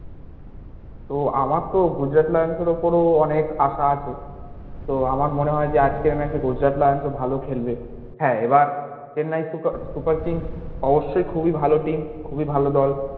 তো আমার তো গুজরাট লায়ন্স এর উপরে ও অনেক আশা আছে তো আমার মনে হয় যে আজকের match এ গুজরাট লায়ন্স ও ভালো খেলবে হ্যাঁ এবার চেন্নাই সুপার কিংস অবশ্যই খুব ই ভালো team খুবই ভালো দল